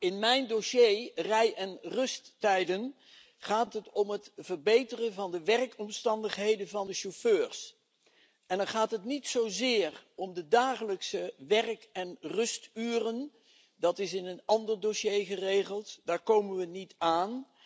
In mijn dossier rij en rusttijden gaat het om het verbeteren van de werkomstandigheden van de chauffeurs. Dan gaat het niet zozeer om de dagelijkse werk en rusturen, dat is in een ander dossier geregeld. Daar komen we niet aan.